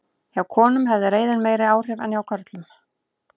Hjá konum hafði reiðin meiri áhrif en hjá körlum.